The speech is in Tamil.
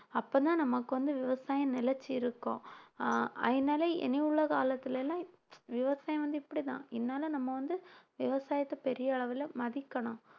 அப்பதான் நமக்கு வந்து விவசாயம் நிலைச்சு இருக்கும் ஆஹ் அதனால இனி உள்ள காலத்தில எல்லாம் விவசாயம் வந்து இப்படித்தான் அதனால நம்ம வந்து விவசாயத்தை பெரிய அளவுல மதிக்கணும்